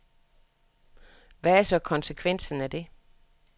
Hvad er så konsekvensen af det.